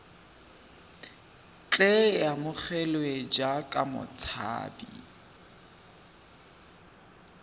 tle a amogelwe jaaka motshabi